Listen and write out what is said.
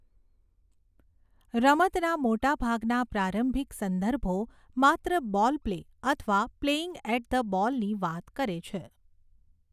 રમતના મોટાભાગના પ્રારંભિક સંદર્ભો માત્ર 'બૉલ પ્લે' અથવા 'પ્લેઇંગ એટ ધ બૉલ'ની વાત કરે છે.